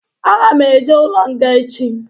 Aga m eje ụlọ nga echi